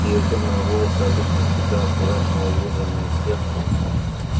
её тёмные волосы обычно всегда аккуратно уложенные в сетку пышным облаком маленьких своевольных кудряшек рассыпались по плечам